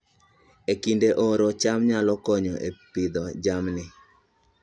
E kinde oro, cham nyalo konyo e Pidhoo jamni